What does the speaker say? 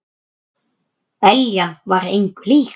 Eljan var engu lík.